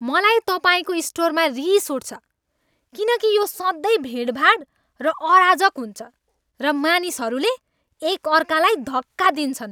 मलाई तपाईँको स्टोरमा रिस उठ्छ किनकि यो सधैँ भिडभाड र अराजक हुन्छ र मानिसहरूले एक अर्कालाई धक्का दिन्छन्।